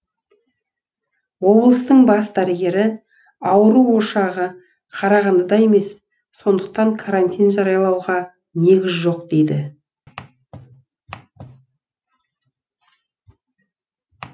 облыстың бас дәрігері ауру ошағы қарағандыда емес сондықтан карантин жариялауға негіз жоқ дейді